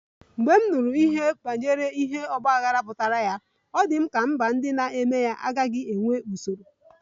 Mgbe m nụrụ banyere ihe ọgba aghara pụtara, ọ dị m ka mba ndị na-eme ya agaghị enwe usoro